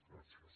gràcies